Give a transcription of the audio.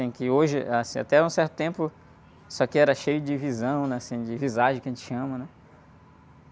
Em que hoje, assim, até um certo tempo, isso aqui era cheio de visão, né? Assim, de visagem que a gente chama, né?